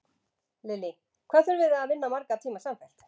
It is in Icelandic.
Lillý: Hvað þurfið þið að vinna marga tíma samfellt?